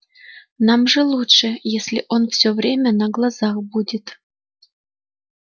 нам же лучше если он всё время на глазах будет